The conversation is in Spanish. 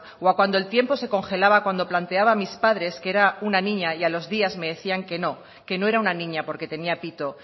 o a cuando el tiempo se congelaba cuando planteaba a mis padres que era una niña y a los días me decían que no que no era una niña porque tenía pito